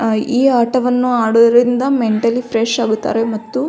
ಈ ಆಟವನ್ನು ಆಡುವುದರಿಂದ ಮೆಂಟಲಿ ಫ್ರೆಶ್ ಆಗುತ್ತಾರೆ ಮತ್ತು --